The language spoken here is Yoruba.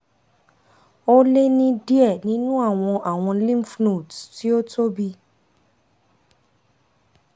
o le ni diẹ ninu awọn awọn lymphnodes ti o tobi